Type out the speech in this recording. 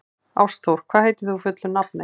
Ástþór, hvað heitir þú fullu nafni?